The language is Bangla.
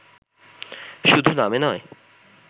শুধু নামে নয়